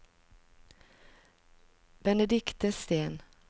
Benedikte Steen